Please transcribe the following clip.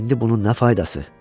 İndi bunun nə faydası?